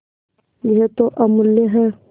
यह तो अमुल्य है